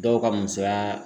Dɔw ka musoya